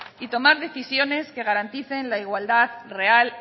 y tomar decisiones que garanticen la igualdad real